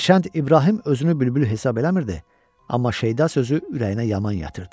Hərçənd İbrahim özünü bülbül hesab eləmirdi, amma Şeyda sözü ürəyinə yaman yatırdı.